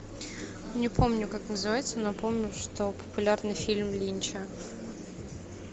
не помню как называется но помню что популярный фильм линча